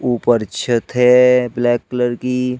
ऊपर छत है ब्लैक कलर की।